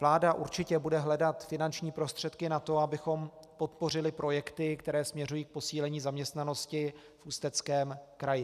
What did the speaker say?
Vláda určitě bude hledat finanční prostředky na to, abychom podpořili projekty, které směřují k posílení zaměstnanosti v Ústeckém kraji.